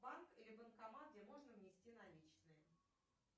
банк или банкомат где можно внести наличные